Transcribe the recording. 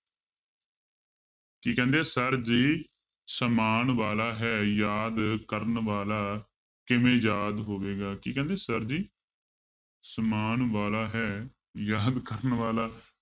ਕੀ ਕਹਿੰਦੇ ਆ sir ਜੀ ਸਮਾਨ ਵਾਲਾ ਹੈ ਯਾਦ ਕਰਨ ਵਾਲਾ ਕਿਵੇਂ ਯਾਦ ਹੋਵੇਗਾ, ਕੀ ਕਹਿੰਦੇ sir ਜੀ ਸਮਾਨ ਵਾਲਾ ਹੈ ਯਾਦ ਕਰਨ ਵਾਲਾ